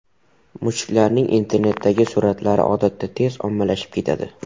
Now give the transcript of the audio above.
Mushuklarning internetdagi suratlari odatda tez ommalashib ketadi.